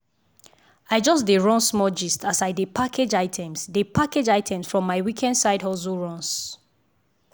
i just dey run small gist as i dey package items dey package items from my weekend side hustle runs.